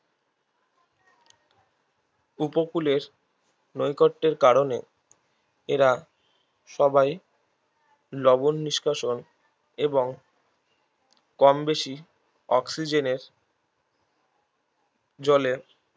উপকূলের নৈকট্যের কারণে এরা সবাই লবন নিষ্কাশন এবং কমবেশি অক্সিজেনের জলে